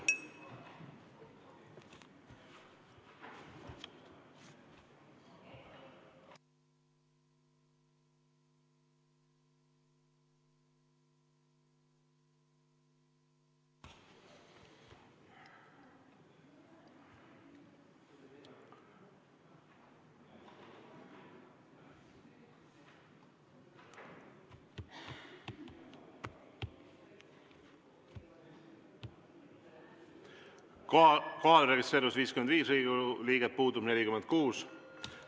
Kohalolijaks registreerus 55 Riigikogu liiget, puudub 46.